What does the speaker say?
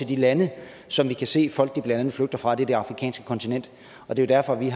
de lande som vi kan se folk blandt andet flygter fra det er det afrikanske kontinent det er derfor vi